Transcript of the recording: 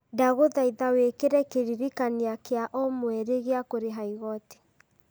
ndagũthaitha wĩkĩre kĩririkania kĩa o mweri gĩa kũrĩha igooti